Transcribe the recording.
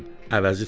əvəzi çıxar.